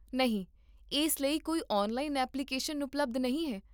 ਨਹੀਂ, ਇਸ ਲਈ ਕੋਈ ਔਨਲਾਈਨ ਐਪਲੀਕੇਸ਼ਨ ਉਪਲਬਧ ਨਹੀਂ ਹੈ